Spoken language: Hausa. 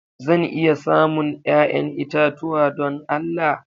Zan iya samun 'ya'yan itatuwa don Allah?